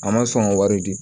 A ma sɔn ka wari di